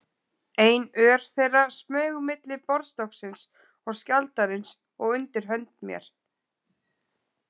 Ein ör þeirra smaug milli borðstokksins og skjaldarins og undir hönd mér.